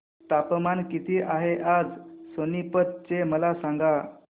तापमान किती आहे आज सोनीपत चे मला सांगा